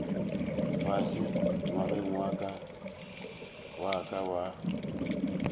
fase ngwageng wa ka wa